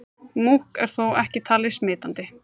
Múkk er þó ekki talið smitandi.